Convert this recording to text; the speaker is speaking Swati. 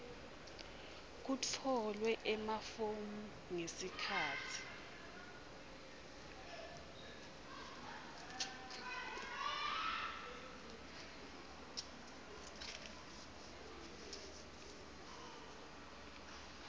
kutfolwe emafomu ngesikhatsi